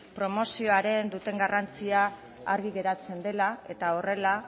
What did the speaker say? promozioan duten garrantzia argi geratzen dela eta horrela